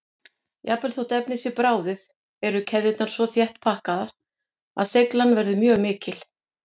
Jafnvel þótt efnið sé bráðið eru keðjurnar svo þétt pakkaðar að seigjan verður mjög mikil.